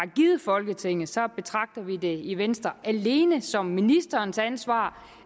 folketinget så betragter vi det i venstre alene som ministerens ansvar